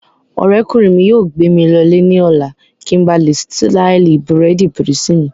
Ọ̀rẹ́kùnrin mi yóò gbé mi lọ lè ní ọ̀la kí n ba lè ṣtáìlì bírèèdì písì mi